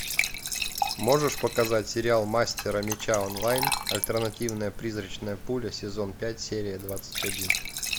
можешь показать сериал мастера меча онлайн альтернативная призрачная пуля сезон пять серия двадцать один